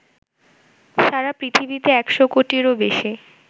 সারা পৃথিবীতে ১০০ কোটিরও বেশি